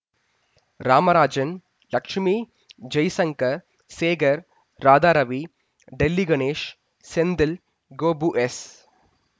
Ramarajan Lakshmi Jaishankar Sekhar Radharavi Delhi Ganesh Senthil Gopu S